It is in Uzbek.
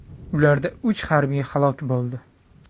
Ularda uch harbiy halok bo‘ldi.